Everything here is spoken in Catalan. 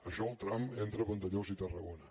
això el tram entre vandellós i tarragona